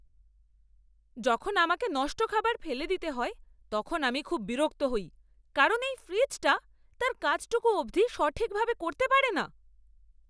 যখন আমাকে নষ্ট খাবার ফেলে দিতে হয় তখন আমি খুব বিরক্ত হই কারণ এই ফ্রিজটা তার কাজটুকু অবধি সঠিকভাবে করতে পারে না!